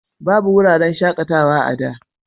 Babu wuraren shaƙatawa a da.